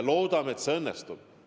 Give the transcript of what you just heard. Loodame, et see õnnestub.